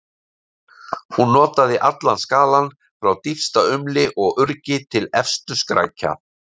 Hún notaði allan skalann, frá dýpsta umli og urgi til efstu skrækja.